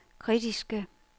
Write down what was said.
kritiske